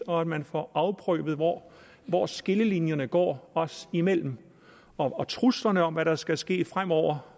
og at man får afprøvet hvor hvor skillelinjerne går os imellem og truslerne om hvad der skal ske fremover